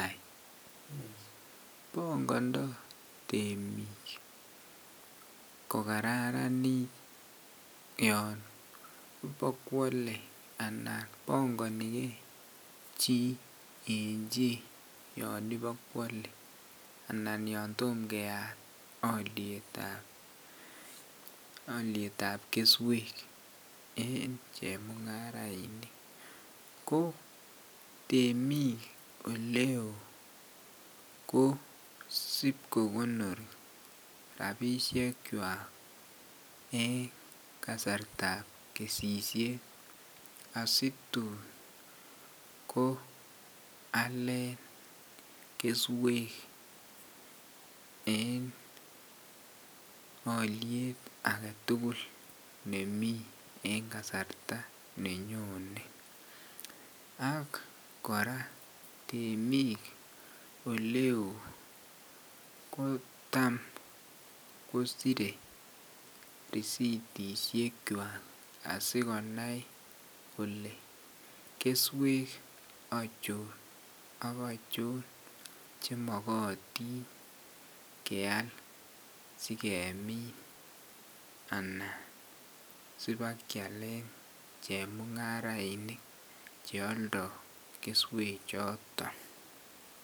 Bangandaa temik kokararanit yon bakwale anan kobangani gei chi en iba Kwale anan yon Tomo keyat aliet ab kesek en chemungarainik ko temik oleon KO sibkokonoti rabishek chwak en kasarta ab kesishet asitun Alen keswek en aliet agetugul nemi en kasarta nenyonen ak koraa temik oleon kotam kosire risitishek chwak asikonai Kole keswek achon akachin chemakatin keyal sikemin anan sibakyalen chemungarainik cheyaldoi keswek choton